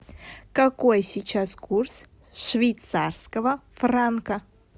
какой сейчас курс швейцарского франка